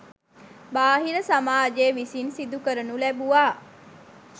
බාහිර සමාජය විසින් සිදු කරනු ලැබුවා.